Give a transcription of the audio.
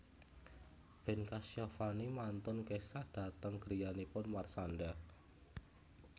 Ben Kasyafani mantun kesah dhateng griyanipun Marshanda